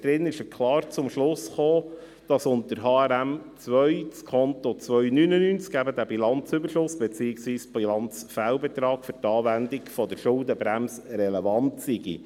Darin ist er klar zum Schluss gekommen, dass unter HRM2 das Konto 299 – eben dieser Bilanzüberschuss beziehungsweise Bilanzfehlbetrag – für die Anwendung der Schuldenbremse relevant sei.